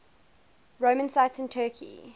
roman sites in turkey